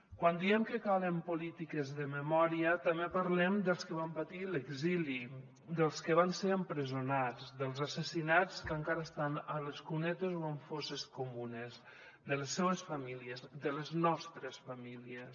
quan diem que calen polítiques de memòria també parlem dels que van patir l’exili dels que van ser empresonats dels assassinats que encara estan a les cunetes o en fosses comunes de les seues famílies de les nostres famílies